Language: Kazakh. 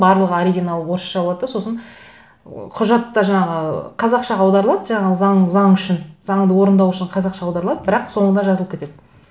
барлық оригиналы орысша болады да сосын құжат та жаңағы қазақшаға аударылады жаңағы заң үшін заңды орындау үшін қазақша аударылады бірақ соңында жазылып кетеді